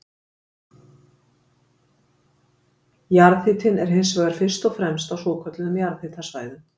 jarðhitinn er hins vegar fyrst og fremst á svokölluðum jarðhitasvæðum